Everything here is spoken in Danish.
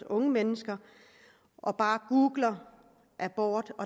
unge mennesker og bare googlede abort